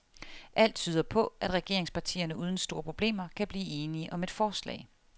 Alt tyder på, at regeringspartierne uden store problemer kan blive enige om et forslag.